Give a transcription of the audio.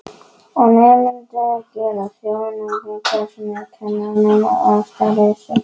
Og nemendur gera þjóðsagnapersónur úr kennurum að ástæðulausu.